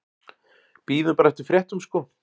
Bíðum bara eftir fréttum sko.